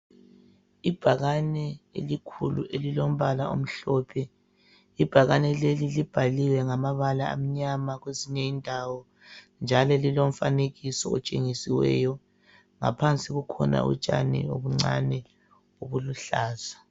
Ibhakane elikhulu elilombala omhlophe. Ibhakane leli libhaliwe ngamabala amnyama kwezinye indawo njalo lilomfanekiso otshengisiweyo. Ngaphansi kukhona utshani obuncane obuluhlaza.